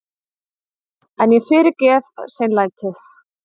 En ég fyrirgef seinlætið.